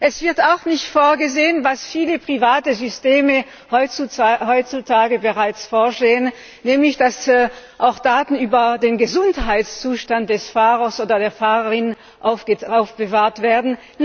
Es wird auch nicht vorgesehen, was viele private Systeme heutzutage bereits vorsehen, nämlich dass auch Daten über den Gesundheitszustand des Fahrers oder der Fahrerin gespeichert werden.